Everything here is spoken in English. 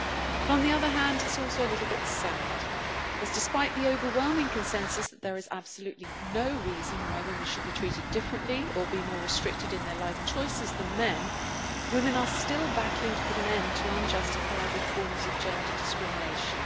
But on the other hand, it is also a little bit sad, as despite the overwhelming consensus that there is absolutely no reason why women should be treated differently or be more restricted in their life choices than men, women are still battling to put an end to unjustifiable forms of gender discrimination.